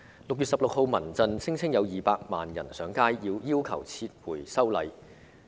6月16日，民間人權陣線聲稱有200萬人上街，要求撤回修例。